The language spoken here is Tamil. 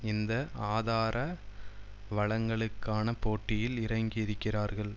இந்த ஆதாரவளங்களுக்கான போட்டியில் இறங்கி இருக்கிறார்கள்